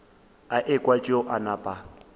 a ekwa tšeo a napa